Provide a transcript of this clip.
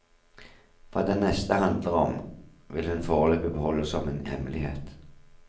Hva den neste handler om, vil hun foreløpig beholde som en hemmelighet.